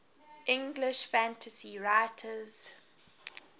english fantasy writers